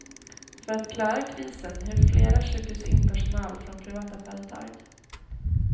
För att klara krisen hyr flera sjukhus in personal från privata företag.